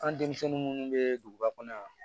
An denmisɛnnin minnu bɛ duguba kɔnɔ yan